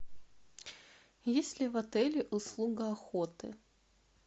есть ли в отеле услуга охоты